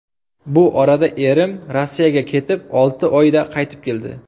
Bu orada erim Rossiyaga ketib, olti oyda qaytib keldi.